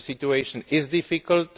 the situation is difficult.